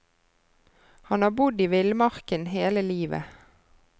Han har bodd i villmarken hele livet.